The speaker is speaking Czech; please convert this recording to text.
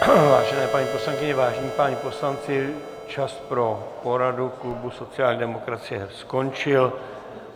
Vážené paní poslankyně, vážení páni poslanci, čas pro poradu klubu sociální demokracie skončil.